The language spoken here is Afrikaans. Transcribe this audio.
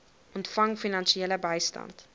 ontvang finansiële bystand